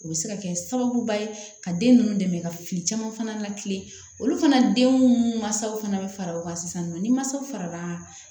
U bɛ se ka kɛ sababuba ye ka den ninnu dɛmɛ ka fili caman fana la kilen olu fana denw mansaw fana bɛ fara o kan sisan nɔ ni mansaw farala